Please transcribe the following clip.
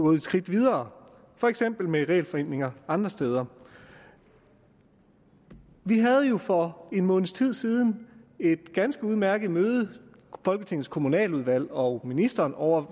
et skridt videre for eksempel med regelforenklinger andre steder vi havde jo for en måneds tid siden et ganske udmærket møde folketingets kommunaludvalg og ministeren ovre